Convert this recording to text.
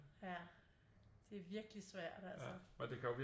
Ja det er virkelig svært altså